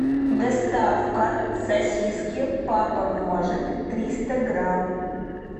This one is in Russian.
доставка сосиски папа может триста грамм